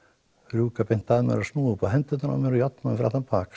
rjúka beint að mér og snúa upp á hendurnar á mér og járna mig fyrir aftan bak